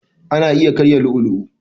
Ana iya karya lu'u lu'u.